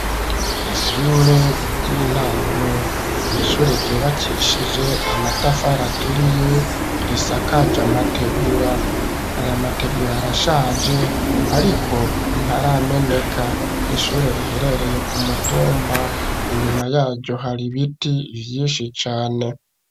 Ishure ry'intango, ni ishure ryubakishije amatafari aturiye, risakaje amategura; aya mategura, arashaje, ariko ntarameneka; ni ishure, riherereye ku mutumba; inyuma yaryo, hari ibiti vyinshi cane.